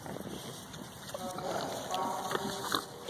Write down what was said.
гагарин парк отзывы